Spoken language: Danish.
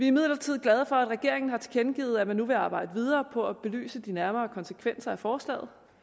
imidlertid glade for at regeringen har tilkendegivet at man nu vil arbejde videre på at belyse de nærmere konsekvenser af forslaget